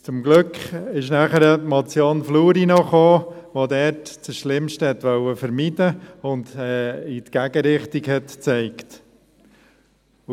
Zum Glück kam danach noch die Motion Fluri , die dort das Schlimmste vermeiden wollte und in die Gegenrichtung zeigte.